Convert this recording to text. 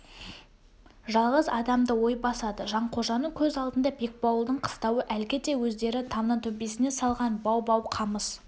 жалғыз адамды ой басады жанқожаның көз алдында бекбауылдың қыстауы әлгіде өздері тамның төбесіне салған бау-бау қамыс